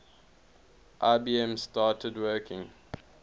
ibm started working